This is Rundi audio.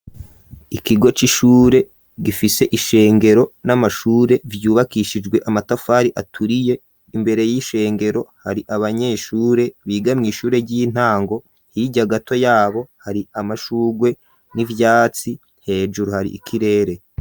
Ikigo c'ishure gifise ishengero n'amashure vyubakishijwe amatafari aturiye imbere y'ishengero hari abanyeshure bigamye ishure ry'intango hirya gato yabo hari amashugwe n'ivyatsi hejuru hari ikirere.